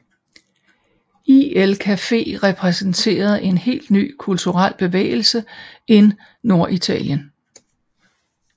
Il Caffè repræsenterede en helt ny kulturel bevægelse in Norditalien